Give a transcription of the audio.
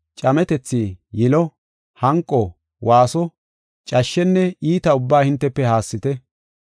Cametethi, yilo, hanqo, waaso, cashshenne iita ubbaa hintefe haassite.